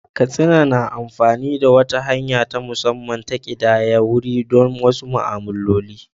Katsina na amfani da wata hanya ta musamman ta ƙidayar wuri don wasu ma'amaloli.